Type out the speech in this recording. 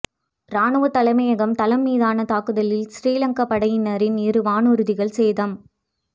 இராணுவத் தலைமையகம் தளம் மீதான தாக்குதலில் சிறீலங்கா படையினரின் இரு வானூர்திகள் சேதம்